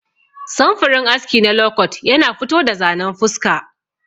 Samfurin aski na lokot yana fito da zanen fuska.